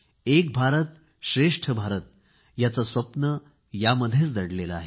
एक भारतश्रेष्ठ भारत याचे स्वप्न यामध्येच दडलेले आहे